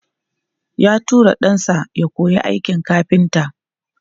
Ya tura ɗansa ya koyi aikin kafinta.